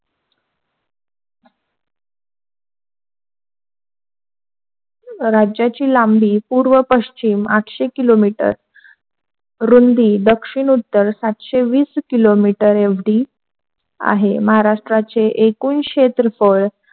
राज्याची लांबी पूर्व पश्चिम आटशे किलोमीटर रुंदी दक्षिण उत्तर सातशे वीस किलोमीटर एवढी आहे. महाराष्ट्राचे एकूण क्षेत्रफळ,